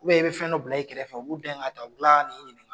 e be fɛn dɔ bila, i kɛrɛfɛ fɛ, u b'u dɛn ka t'a, u bi kila ka ni ɲininka.